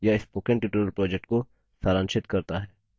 यह spoken tutorial project को सारांशित करता है